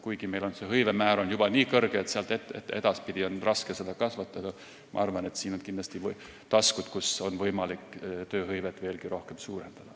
Kuigi meil on hõivemäär juba nii kõrge, et sealt edasi on raske seda kasvatada, on siin minu arvates kindlasti taskuid, kus on võimalik tööhõivet veelgi suurendada.